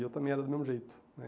E eu também era do mesmo jeito.